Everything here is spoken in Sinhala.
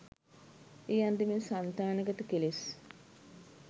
ඒ අන්දමින් සන්තානගත කෙළෙස්